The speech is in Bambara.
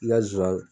I ka nsonsannin